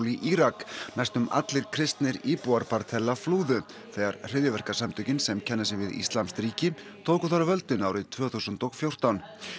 í Írak næstum allir kristnir íbúar flúðu þegar hryðjuverkasamtökin sem kenna sig við íslamskt ríki tóku þar völdin árið tvö þúsund og fjórtán